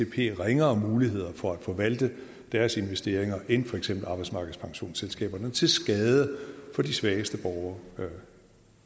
give atp ringere muligheder for at forvalte deres investeringer end for eksempel arbejdsmarkedspensionsselskaberne og til skade for de svageste borgere